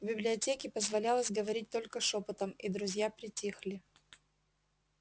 в библиотеке позволялось говорить только шёпотом и друзья притихли